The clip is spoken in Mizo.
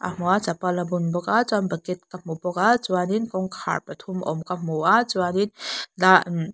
hmu a chapal a bun bawk a chuan bucket ka hmu bawk a chuan in kawngkhar pa thum awm ka hmuna chuan in.